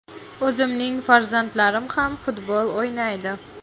O‘zimning farzandlarim ham futbol o‘ynaydi.